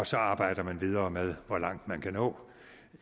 så arbejder videre med hvor langt man kan nå